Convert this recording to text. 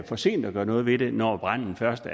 for sent at gøre noget ved det når branden først